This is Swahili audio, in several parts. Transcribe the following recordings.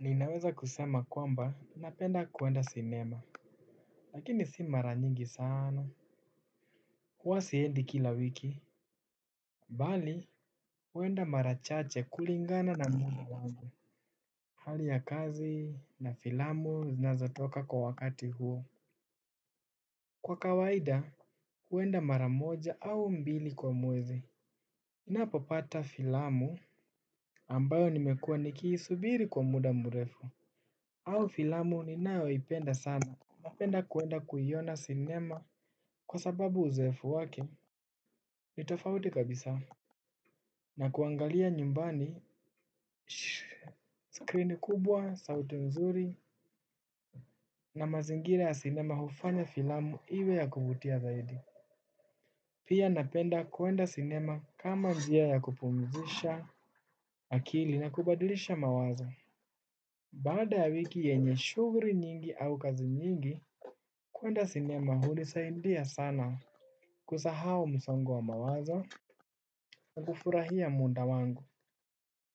Ninaweza kusema kwamba napenda kwenda sinema. Lakini si mara nyingi sana, huwa siendi kila wiki. Mbali huenda mara chache kulingana na muda wangu, hali ya kazi na filamu zinazatoka kwa wakati huo. Kwa kawaida huenda mara moja au mbili kwa mwezi ninapopata filamu ambayo nimekua nikiisubiri kwa muda mrefu au filamu ninayoipenda sana. Napenda kwenda kuiona sinema kwa sababu uzoefu wake. Ni tofauti kabisa. Na kuangalia nyumbani skrini kubwa, sauti nzuri na mazingira ya cinema hufanya filamu iwe ya kuvutia zaidi. Pia napenda kwenda sinema kama njia ya kupumzisha akili na kubadilisha mawazo. Baada ya wiki yenye shughuli nyingi au kazi nyingi kwenda sinema hunisaidia sana kusahau mumsongo wa mawazo na kufurahia muda wangu.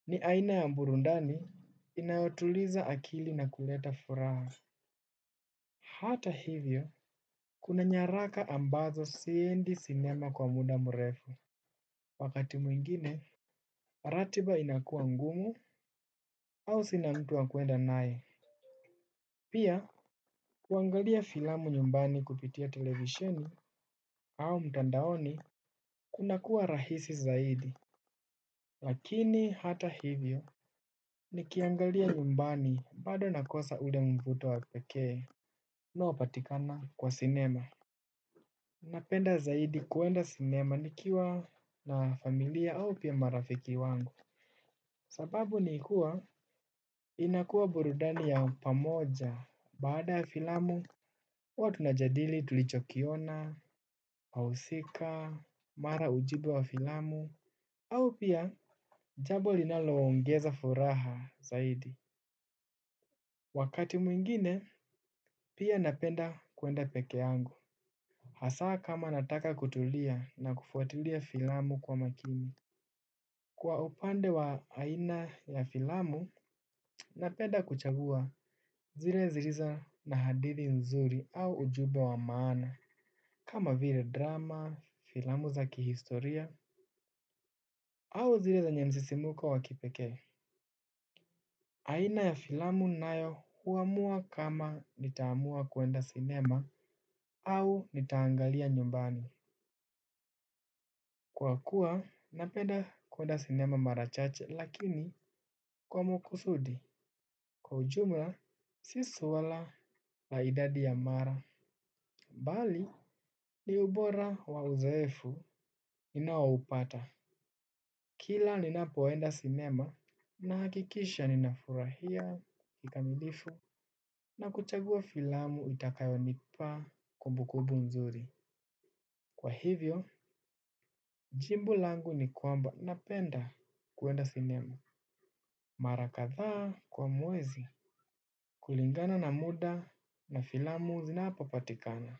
Ni aina ya burudani inayotuliza akili na kuleta furaha. Hata hivyo. Kuna nyaraka ambazo siendi sinema kwa muda mrefu. Wakati mwingine ratiba inakua ngumu. Au sina mtu wa kwenda naye. Pia kuangalia filamu nyumbani kupitia televisheni au mtandaoni kuna kuwa rahisi zaidi. Lakini hata hivyo nikiangalia nyumbani bado nakosa ule mvuto wa pekee unaopatikana kwa sinema. Napenda zaidi kwenda sinema nikiwa na familia au pia marafiki wangu. Sababu ni kuwa inakuwa burudani ya pamoja. Baada filamu huwa tunajadili tulichokiona wahusika mara ujumbe wa filamu au pia jambo linaloongeza furaha zaidi. Wakati mwingine, pia napenda kwenda peke yangu. Hasa kama nataka kutulia na kufuatulia filamu kwa makini. Kwa upande wa aina ya filamu, napenda kuchagua zile zilizo na hadithi nzuri au ujumbe wa maana. Kama vile drama, filamu za kihistoria, au zile zenye msisimko wa kipekee. Aina ya filamu nayo huamua kama nitaamua kwenda sinema au nitaangalia nyumbani. Kwa kuwa, napenda kwenda sinema mara chache lakini kwa makusudi. Kwa ujumla, si swala la idadi ya mara. Bali, ni ubora wa uzoefu ninao upata kila ninapoenda sinema ninahakikisha ninafurahia kikamilifu na kuchagua filamu itakayonipa kumbukumbu nzuri. Kwa hivyo jibu langu ni kwamba napenda kwenda sinema. Mara kadhaa kwa mwezi kulingana na muda na filamu zinapopatikana.